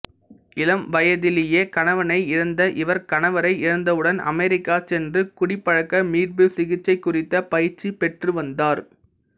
இளம் வயதிலேயே கணவனை இழந்த இவர் கணவரை இழந்தவுடன் அமெரிக்கா சென்று குடிப்பழக்க மீட்பு சிகிச்சைகுறித்த பயிற்சி பெற்றுவந்தார்